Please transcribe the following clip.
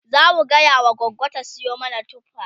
zamu gaya wa gogo ta Sayo mana tufa